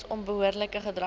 weens onbehoorlike gedrag